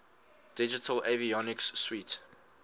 digital avionics suite